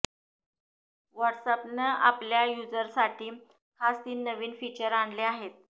व्हॉट्स अॅपनं आपल्या युजर्ससाठी खास तीन नवीन फीचर आणले आहेत